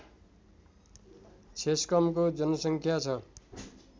छेस्कमको जनसङ्ख्या छ